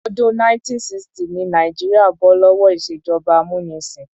Ọdún 1960 ni Nàìjíríà bó lówó ìṣèjọba amúnisìn.